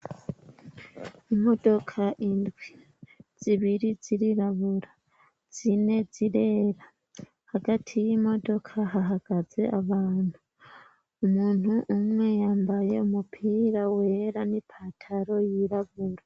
Imodoka indwi; zibiri zirirabura, zine zirera hagati y'imodoka hahagaze abantu. Umuntu umwe yambaye umupira wera n'ipantaro yirabura.